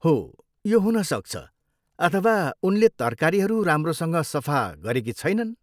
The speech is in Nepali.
हो, यो हुन सक्छ अथवा उनले तरकारीहरू राम्रोसँग सफा सफा गरेकी छैनन्।